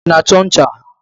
Ị na-achọ ncha?